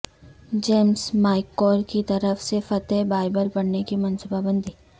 James میککور کی طرف سے فتح بائبل پڑھنے کی منصوبہ بندی